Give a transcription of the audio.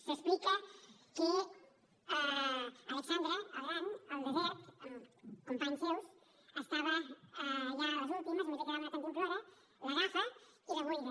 s’explica que alexandre el gran al desert amb companys seus estava ja a les últimes només li quedava una cantimplora l’agafa i la buida